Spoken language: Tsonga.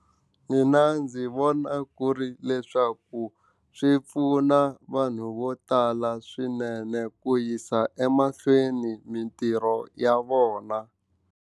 Mina ndzi vona ku ri leswaku swi pfuna vanhu vo tala swinene ku yisa emahlweni mitirho ya vona.